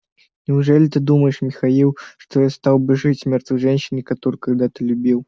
неужели ты думаешь михаил что я стал бы жить с мёртвой женщиной которую когда-то любил